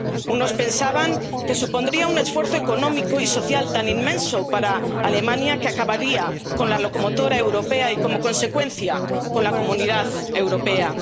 Unos pensaban que supondría un esfuerzo económico y social tan inmenso para Alemania, que acabaría con la locomotora europea y, como consecuencia, con la Comunidad Europea.